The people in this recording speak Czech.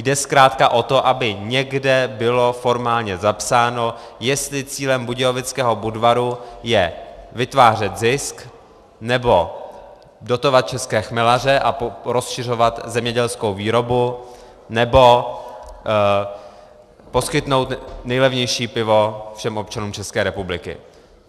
Jde zkrátka o to, aby někde bylo formálně zapsáno, jestli cílem Budějovického Budvaru je vytvářet zisk, nebo dotovat české chmelaře a rozšiřovat zemědělskou výboru, nebo poskytnout nejlevnější pivo všem občanům České republiky.